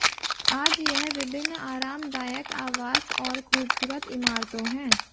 आज यह विभिन्न आरामदायक आवास और खूबसूरत इमारतों है